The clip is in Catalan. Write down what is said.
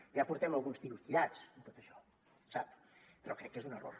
ja portem alguns tiros tirats en tot això sap però crec que és un error